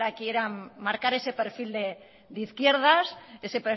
que ahora quieran marcar ese perfil de izquierdas ese